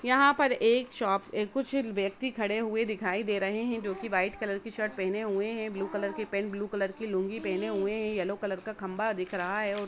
यहां पर एक शॉप पे कुछ व्यक्ति खड़े हुए दिखाई दे रहे हैं जो की वाईट कलर की शर्ट पहने हुए है ब्लू कलर की पेंट और ब्लू कलर की लुंगी पहने हुए है यल्लो कलर का खम्बा दिख रहा है।